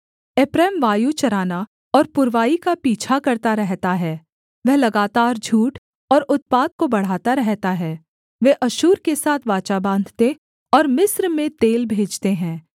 एप्रैम वायु चराना और पुरवाई का पीछा करता रहता है वह लगातार झूठ और उत्पात को बढ़ाता रहता है वे अश्शूर के साथ वाचा बाँधते और मिस्र में तेल भेजते हैं